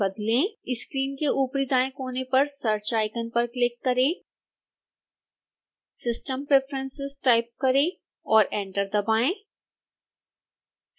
screen में ऊपरी दाएं कोने पर search आइकन पर क्लिक करें system preferences टाइप करें और एंटर दबाएं